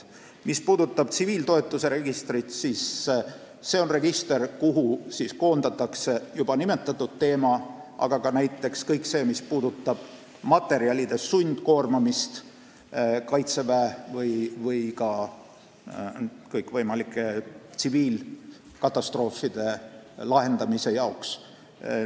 Mis puudutab tsiviiltoetuse registrit, siis see on register, kuhu koondatakse juba nimetatud teemaga seotud andmed, aga näiteks ka kõik see, mis puudutab sundkoormamist kaitseväe heaks või kõikvõimalike tsiviilkatastroofide likvideerimise jaoks.